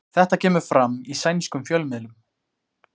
Þetta kemur fram í sænskum fjölmiðlum